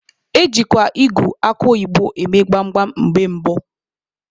Ejikwa ịgụ akụ oyibo eme gbam gbam mgbe gboo.